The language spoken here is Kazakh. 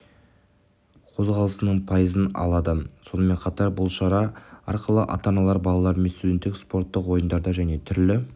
қозғалысының пайызын алады сонымен қатар бұл шара арқылы ата-аналар балаларымен студенттік спорттық ойындарды және түрлі